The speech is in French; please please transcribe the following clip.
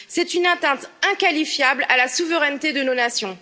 C'est une atteinte inqualifiable à la souveraineté de nos nations.